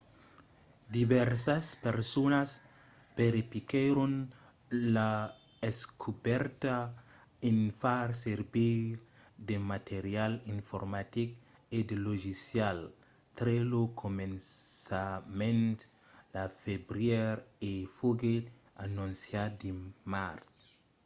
divèrsas personas verifiquèron la descobèrta en far servir de material informatic e de logicials tre lo començament de febrièr e foguèt anonciat dimars